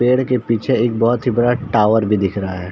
पेड़ के पीछे एक बहोत ही बड़ा टॉवर भी दिख रहा है।